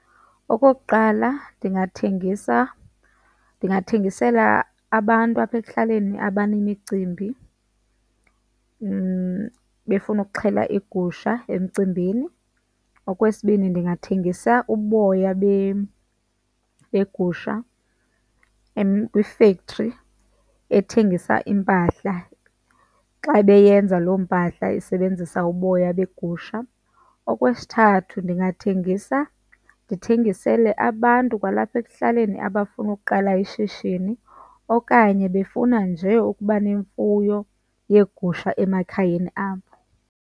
Okokuqala ndingathengisa, ndingathengisela abantu apha ekuhlaleni abanemicimbi befuna ukuxhela igusha emcimbini. Okwesibini, ndingathengisa uboya begusha kwi-factory ethengisa iimpahla, xa beyenza lo mpahla isebenzisa uboya begusha. Okwesithathu, ndingathengisa ndithengisele abantu kwalapha ekuhlaleni abafuna uqala ishishini okanye befuna nje ukuba nemfuyo yeegusha emakhayeni abo.